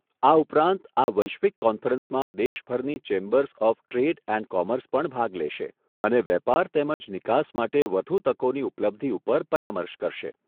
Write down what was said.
આ ઉપરાંત આ વૈશ્વિક કોન્ફરન્સમાં દેશભરની chambers of trade and commerce પણ ભાગ લેશે અને વેપાર તેમજ નિકાસ માટે વધુ તકોની ઉપલબ્ધિ ઉપર પરામર્શ કરશે.